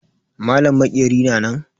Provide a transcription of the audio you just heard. Malam maƙeri na nan?